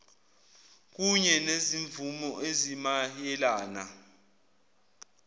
kunye nezimvume ezimayelana